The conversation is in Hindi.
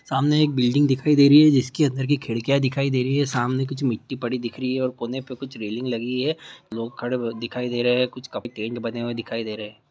सामने एक बिल्डिंग दिखाई दे रही हैं जिसके अंदर की खिड़कियाँ दिखाई दे रही हैं सामने कुछ मिट्टी पड़ी दिख रही हैं और कोने पे कुछ रैलिंग लगी हैं लोग खड़े हुए दिखाई दे रहे हैं कुछ केंट बने दिखाइ दे रहे हैं।